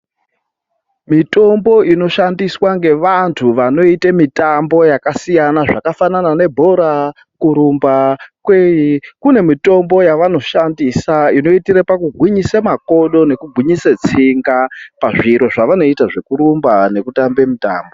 Mitombo inoshandiswa ngevantu vanoita mitambo yakasiyana, zvakafanana nebhora, kurumba kweyi, kune mitombo yavanoshandisa inoitire pakugwinyisa makodo nekugwinyisa tsinga pazviro zvavanoita zvekurumba nekutambe mutambo.